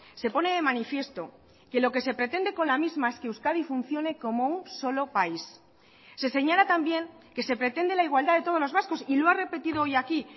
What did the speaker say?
se pone de manifiesto que lo que se pretende con la misma es que euskadi funcione como un solo país se señala también que se pretende la igualdad de todos los vascos y lo ha repetido hoy aquí